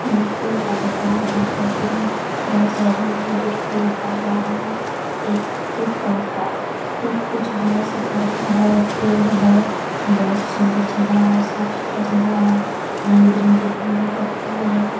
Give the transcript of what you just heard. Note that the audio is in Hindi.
यहाँ फूल का दुकान है फूल लगा हुआ है। एक-एक पौधा एक कुछ बड़ा सा पौधा है एक पेड़ है बहुत सुंदर जगह है। साफ-सूत्रा जगह है। रंग-बिरंगे गेंदे का फूल है।